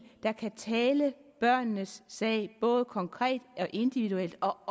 der kan tale børnenes sag både konkret individuelt og